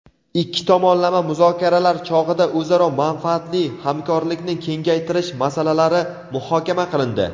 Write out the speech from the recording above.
Ikki tomonlama muzokaralar chog‘ida o‘zaro manfaatli hamkorlikni kengaytirish masalalari muhokama qilindi.